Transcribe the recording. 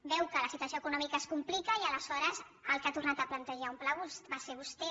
veu que la situació econòmica es complica i ales·hores qui ha tornat a plantejar un pla va ser vostè